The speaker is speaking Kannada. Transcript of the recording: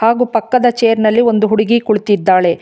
ಹಾಗು ಪಕ್ಕದ ಚೇರ್ ನಲ್ಲಿ ಒಂದು ಹುಡುಗಿ ಕುಳಿತಿದ್ದಾಳೆ.